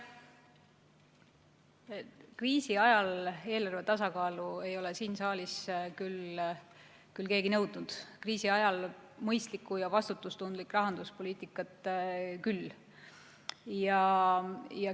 Kriisi ajal eelarve tasakaalu ei ole siin saalis keegi nõudnud, küll aga mõistlikku ja vastutustundlikku rahanduspoliitikat.